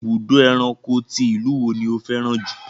Ibùdó ẹranko ti ìlú wo ni ó fẹ́ràn jù?